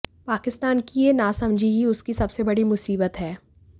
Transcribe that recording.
पाकिस्तान की यह नासमझी ही उसकी सबसे बड़ी मुसीबत है